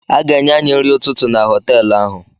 A ga-enye any nri ụtụtụ na họtelụ ahụ.